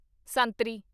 ਸੰਤਰੀ